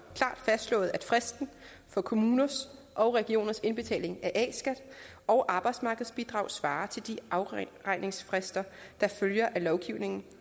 fastslået at fristen for kommuners og regioners indbetaling af a skat og arbejdsmarkedsbidrag svarer til de afregningsfrister der følger af lovgivningen